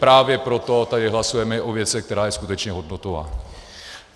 Právě proto tady hlasujeme o věci, která je skutečně hodnotová.